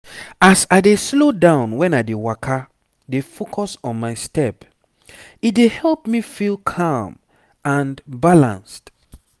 as i dey slow down when i dey waka dey focus on my step e dey help me feel calm and balanced.